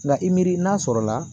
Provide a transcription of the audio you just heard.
Nka i miri n'a sɔrɔla